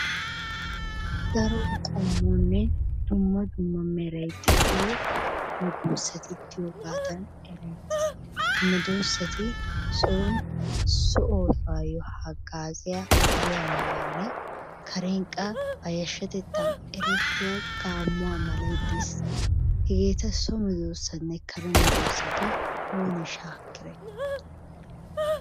Daro qommonne dumma dumma meray de'iyo medoossati diyogaadan ereettes. Medoossati soon so oosuwayyo haggaazziya hariyaa malayinne kareen qa ba yashshatettan erettiya gaammuwa malay dees. Hegeeta so medoossanne kare medoossa gi oonee shaakkiday?